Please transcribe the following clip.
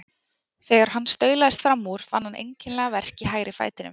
Þegar hann staulaðist fram úr fann hann einkennilegan verk í hægri fætinum.